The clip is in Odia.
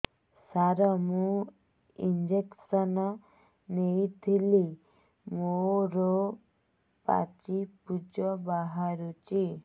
ସାର ମୁଁ ଇଂଜେକସନ ନେଇଥିଲି ମୋରୋ ପାଚି ପୂଜ ବାହାରୁଚି